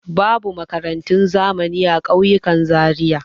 Babu makarantun zamani a ƙauyukan Zariya.